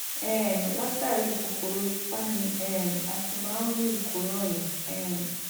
um látàrí kòkòrò ipá ni um a ti máa ń ní ìkóràn yìí um